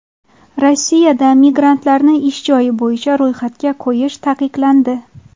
Rossiyada migrantlarni ish joyi bo‘yicha ro‘yxatga qo‘yish taqiqlandi.